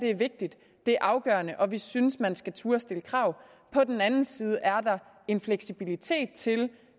er vigtigt at det er afgørende og at vi synes man skal turde stille krav og på den anden side er en fleksibilitet til